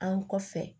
An kɔfɛ